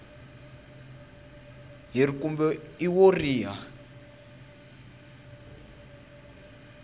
h kumbe i wo riha